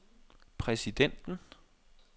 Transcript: præsidenten